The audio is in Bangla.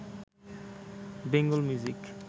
বেঙ্গল মিউজিক